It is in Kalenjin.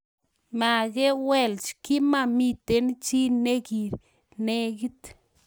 Magelwech, kimamiten chi negilegit